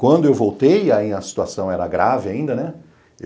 Quando eu voltei, aí a situação era grave ainda, né?